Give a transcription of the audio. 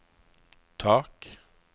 tak